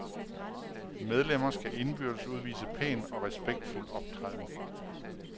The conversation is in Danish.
Medlemmer skal indbyrdes udvise pæn og respektfuld optræden.